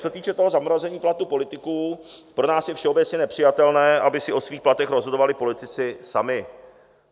Co se týče zamrazení platů politiků, pro nás je všeobecně nepřijatelné, aby si o svých platech rozhodovali politici sami.